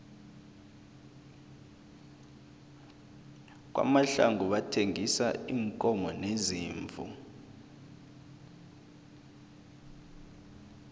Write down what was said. kwamahlangu bathengisa iinkomo neziimvu